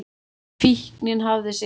Fíknin hafði sigrað.